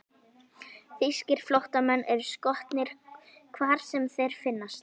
Þýskir flóttamenn eru skotnir, hvar sem þeir finnast.